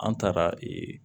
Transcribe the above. An taara ee